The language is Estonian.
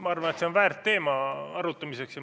Ma arvan, et see on väärt teema arutamiseks.